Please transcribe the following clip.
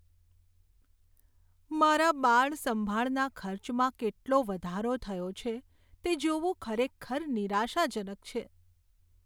મારા બાળ સંભાળના ખર્ચમાં કેટલો વધારો થયો છે તે જોવું ખરેખર નિરાશાજનક છે.